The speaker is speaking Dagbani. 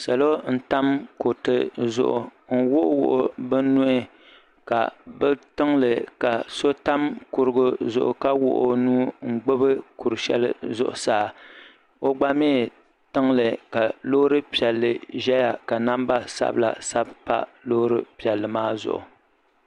Salo n tam kuriti zuɣu n wuɣiwuɣi bɛ nuhi ka bɛ tiŋli ka so tam kurigu zuɣu ka wuɣi o nua n gbibi kuri shɛli zuɣu saa o gba mi tiŋli ka loori piɛlli zaya ka namba sabla sabi m pa loori piɛlli maa zuɣu.